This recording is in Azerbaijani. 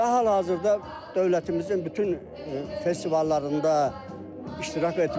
Və hal-hazırda dövlətimizin bütün festivallarında iştirak etmişdir.